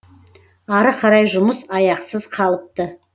ары қарай жұмыс аяқсыз қалыпты